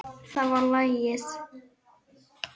Það var lagið.